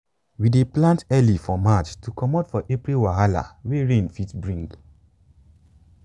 we dey plant early for march to comot for april wahala wey rain fit bring.